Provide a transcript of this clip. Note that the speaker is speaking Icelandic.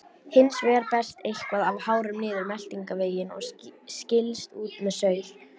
Hins vegar berst eitthvað af hárum niður meltingarveginn og skilst út með saur.